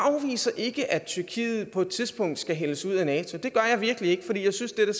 afviser ikke at tyrkiet på et tidspunkt skal hældes ud af nato det gør jeg virkelig ikke for jeg synes at der